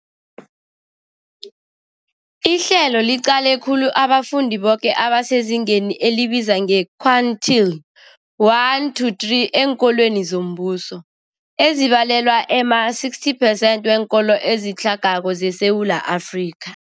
Ihlelo liqale khulu abafundi boke abasezingeni elibizwa nge-quintile 1-3 eenkolweni zombuso, ezibalelwa ema-60 percent weenkolo ezitlhagako zeSewula Afrika.